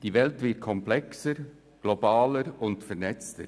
Die Welt wird komplexer, globaler und vernetzter.